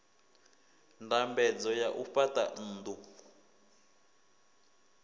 ndambedzo ya u fhaṱa nnḓu